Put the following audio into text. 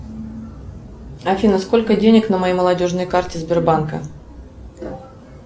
афина сколько денег на моей молодежной карте сбербанка